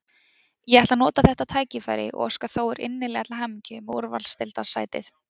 Ég ætla að nota þetta tækifæri og óska Þór innilega til hamingju með úrvalsdeildarsætið.